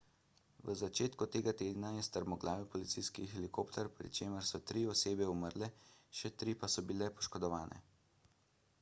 v začetku tega tedna je strmoglavil policijski helikopter pri čemer so tri osebe umrle še tri pa so bile poškodovane